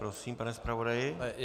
Prosím, pane zpravodaji.